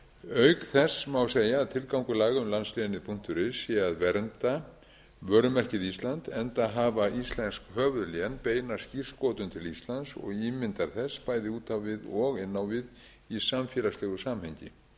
auk þess má segja að tilgangur laga um landslénið punktur is sé að vernda vörumerkið ísland enda hafa íslensk höfuðlén beina skírskotun til íslands og ímyndar þess bæði út á við og inn á við í samfélagslegu samhengi